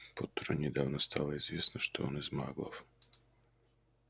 поттеру недавно стало известно что он из маглов